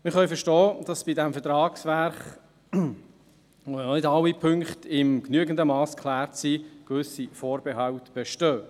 Wir können verstehen, dass bei diesem Vertragswerk, bei dem ja noch nicht alle Punkte in genügendem Mass geklärt sind, gewisse Vorbehalte bestehen.